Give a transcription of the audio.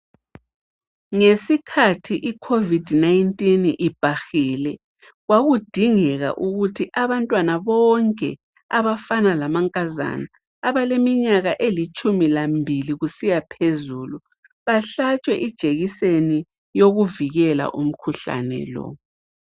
Ngesikhathi icovid 19 ibhahile, kwakudingeka ukuthi abantwana bonke, abafana lama nkazana abaleminyaka elitshumi lambili kusiyaphezulu bahlatshwe ijekiseni yokuvikela umkhuhlane lo.